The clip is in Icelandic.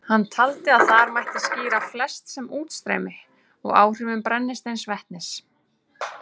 Hann taldi að þar mætti skýra flest með útstreymi og áhrifum brennisteinsvetnis.